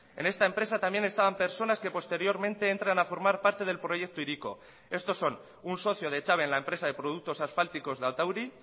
en esta empresa también estaban personas que posteriormente entran a formar parte del proyecto hiriko estos son un socio de echave en la empresa de productos asfálticos de atauri